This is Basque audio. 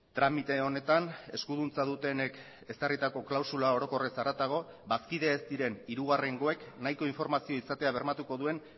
tramite honetan eskuduntza dutenek ezarritako klausula orokorrez haratago bazkide ez diren hirugarrengoek nahiko informazioa izatea bermatuko duen